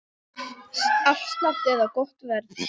Afslátt eða gott verð?